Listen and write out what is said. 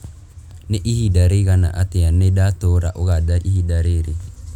Nĩ ihinda rĩigana atĩa nĩĩ ndatũũra Uganda ihinda rĩrĩ